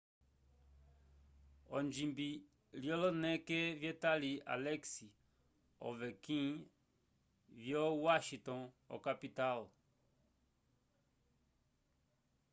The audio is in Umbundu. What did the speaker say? onjimbi lyoloneke vyetali alex ovechkin vyo washington okapital